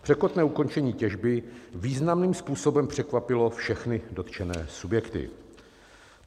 Překotné ukončení těžby významným způsobem překvapilo všechny dotčené subjekty.